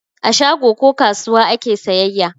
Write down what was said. A shago ko kasuwa ake sayayya.